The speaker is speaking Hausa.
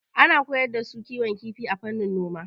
Ana koyar da su kiwon kifi a fannin noma.